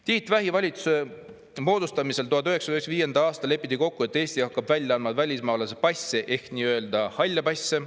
Tiit Vähi valitsuse moodustamisel 1995. aastal lepiti kokku, et Eesti hakkab välja andma välismaalase passe ehk nii-öelda halle passe.